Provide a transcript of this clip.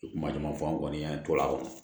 Kuma caman fɔ an kɔni an tola a kɔnɔ